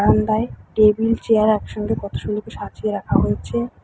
Table chair একসঙ্গে কতো সুন্দর করে সাজিয়ে রাখা হয়েছে।